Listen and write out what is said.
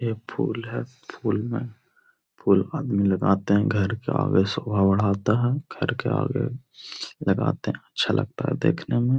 यह फुल है। फुल में फुल आदमी लगाते हैं। घर के आगे शोभा बढ़ाता है। घर के आगे लगाते हैं। अच्छा लगता है देखने में।